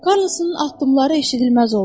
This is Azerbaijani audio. Karlosun addımları eşidilməz oldu.